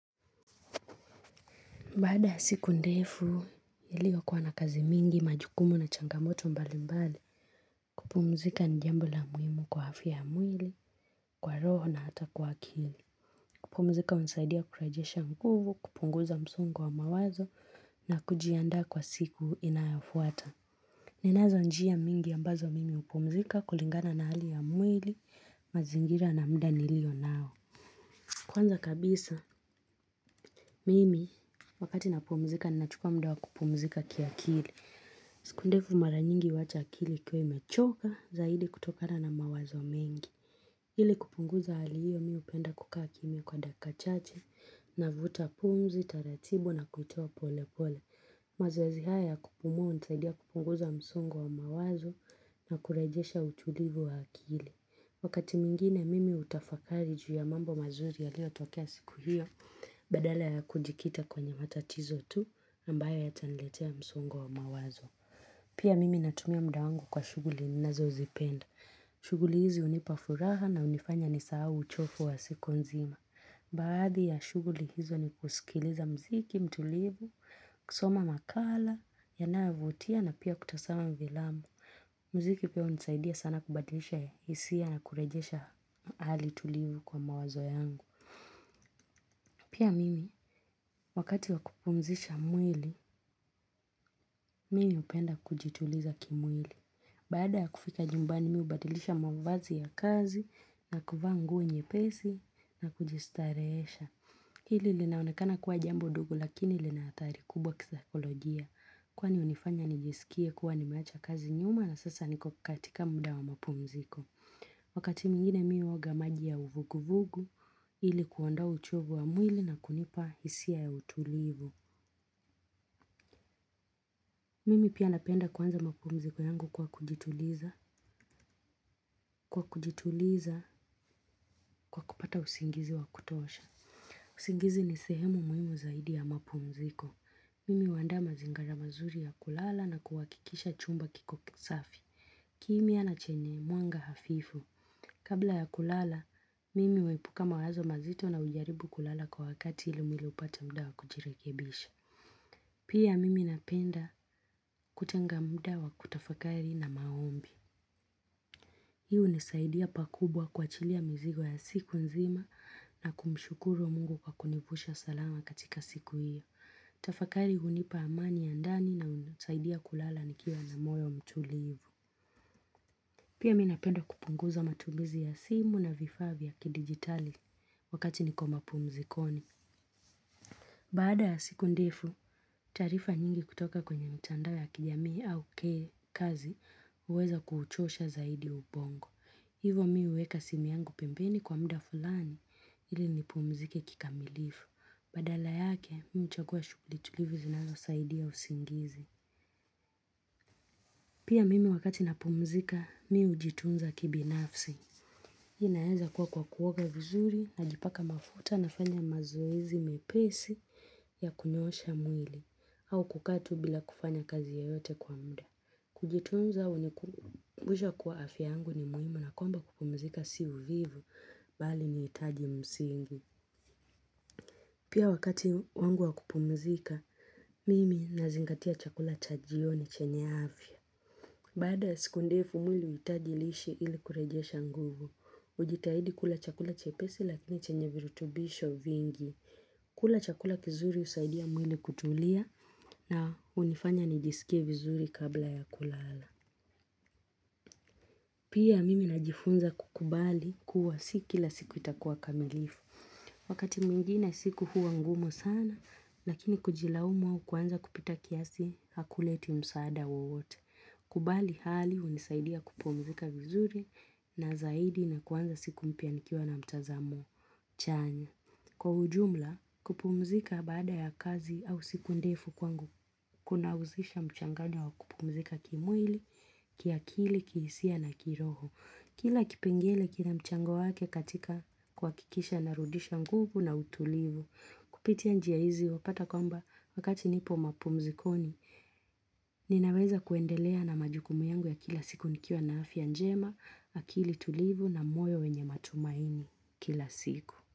Baada ya siku ndefu, iliokuwa na kazi mingi majukumu na changamoto mbali mbali, kupumzika ni jambo la muhimu kwa afya ya mwili, kwa roho na hata kwa kili. Kupumzika unisaidia kurajesha nguvu, kupunguza msongo wa mawazo na kujiandaa kwa siku inayafuata. Ninazo njia mingi ambazo mimi hupumzika kulingana na hali ya mwili, mazingira na muda nilio nao. Kwanza kabisa, mimi wakati napumzika, ninachukua muda wa kupumzika kia kili. Siku ndefu mara nyingi huwacha akili ikiwa imechoka zaidi kutokana na mawazo mengi. Hili kupunguza hali hiyo mi hupenda kukaa kimya kwa dakika chache navuta pumzi taratibu na kuitoa pole pole. Mazoezi haya ya kupumua hunisaidia kupunguza msongo wa mawazo na kurejesha utulivu wa akili. Wakati mwingine mimi utafakari juu ya mambo mazuri yaliotokea siku hiyo badala ya kujikita kwenye matatizo tu ambayo yataniletea msongo wa mawazo. Pia mimi natumia muda wangu kwa shuguli ninazozipenda. Shuguli hizi hunipa furaha na hunifanya ni saa uchofu wa siku nzima. Baadhi ya shuguli hizo ni kusikiliza mziki, mtulivu, kusoma makala, yanayovutia na pia kutasama vilamu. Mziki pia hunisaidia sana kubadilisha hisia na kurejesha hali tulivu kwa mawazo yangu. Pia mimi, wakati wa kupumzisha mwili, mimi hupenda kujituliza kimwili. Baada ya kufika nyumbani mi hubadilisha mwavazi ya kazi na kuvaa nguo nyepesi na kujistarehesha. Hili linaonekana kuwa jambo dogo lakini linaathari kubwa kisaikolojia. Kwani unifanya nijisikie kuwa nimeacha kazi nyuma na sasa niko katika muda wa mapumziko. Wakati nyingine mi huoga maji ya uvuguvugu ili kuondoa uchovu wa mwili na kunipa hisia ya utulivu. Mimi pia napenda kuanza mapumziko yangu kwa kujituliza. Kwa kujituliza kwa kupata usingizi wa kutosha. Usingizi ni sehemu muhimu zaidi ya mapumziko. Mimi huandaa mazingara mazuri ya kulala na kuwakikisha chumba kiko kisafi. Kimya na chenye mwanga hafifu. Kabla ya kulala, mimi huwepuka mawazo mazito na ujaribu kulala kwa wakati ili mwili upate muda wa kujirekebisha. Pia mimi napenda kutenga muda wa kutafakari na maombi. Hi hunisaidia pa kubwa kuwachilia mizigo ya siku nzima na kumshukuru wa mungu kwa kunivusha salama katika siku hiyo. Tafakari hunipa amani ya ndani na hunisaidia kulala nikiwa na moyo mtulivu. Pia mi napenda kupunguza matumizi ya simu na vifaa vya kidigitali wakati niko mapumzikoni. Baada ya siku ndefu, taarifa nyingi kutoka kwenye mtandao ya kijamii au kazi uweza kuchosha zaidi ubongo. Hivo mi huweka simu yangu pembeni kwa muda fulani ili nipumzike kikamilifu. Badala yake, mi huchagua shuguli tulivu zinalo saidia usingizi. Pia mimi wakati napumzika, mi hujitunza kibinafsi. Inaeza kuwa kwa kuoga vizuri najipaka mafuta n fanya mazoezi mepesi ya kunyosha mwili au kukaa tu bila kufanya kazi yoyote kwa muda. Kujitunza hunikumbusha kuwa afya yangu ni muhimu na kwamba kupumzika si uvivu bali ni itaji msingi. Pia wakati wangu wa kupumzika, mimi nazingatia chakula cha jioni chenye afya. Baada siku ndefu mwili huitaji lishe ili kurejesha nguvu, ujitahidi kula chakula chepesi lakini chenye virutubisho vingi. Kula chakula kizuri husaidia mwili kutulia na unifanya nijisikie vizuri kabla ya kulala. Pia mimi najifunza kukubali kuwa si kila siku itakuwa kamilifu. Wakati mwingine siku huwa ngumu sana, lakini kujilaumu kuanza kupita kiasi hakuleti msaada wote. Kubali hali hunisaidia kupumzika vizuri na zaidi na kuanza siku mpya nikiwa na mtazamo. Chanya, kwa ujumla kupumzika baada ya kazi au siku ndefu kwangu, kuna usisha mchanganyo wa kupumzika kimwili, kiakili, kihisia na kiroho. Kila kipengele kina mchango wake katika kuwakikisha narudisha nguvu na utulivu. Kupitia njia hizi wapata kwamba wakati nipo mapumzikoni, ninaweza kuendelea na majukumu yangu ya kila siku nikiwa na afya njema, akili tulivu na moyo wenye matumaini kila siku.